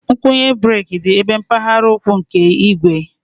Ngwunye breeki dị ebe mpaghara ụkwụ nke igwe